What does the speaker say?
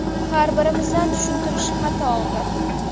Har birimizdan tushuntirish xati oldi.